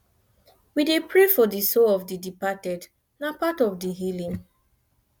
we dey pray for the soul of the departed na part of di healing